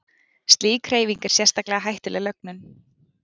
slík hreyfing er sérstaklega hættuleg lögnum